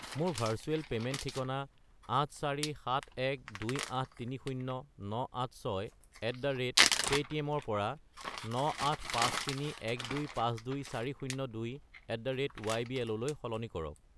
মোৰ virtual payment ঠিকনা 84712830986@paytm -ৰ পৰা 98531252402@ybl -লৈ সলনি কৰক।